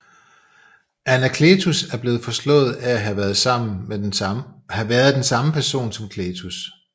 Anakletus er blevet forslået at have været den samme person som Cletus